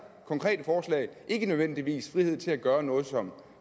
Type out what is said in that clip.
konkrete forslag ikke nødvendigvis frihed til at gøre noget som